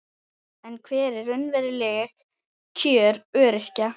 En hver eru raunveruleg kjör öryrkja?